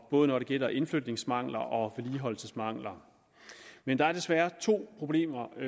både når det gælder indflytningsmangler og vedligeholdelsesmangler men der er desværre to problemer